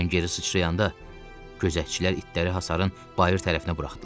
Mən geri sıçrayanda gözətçilər itləri hasarın bayır tərəfinə buraxdılar.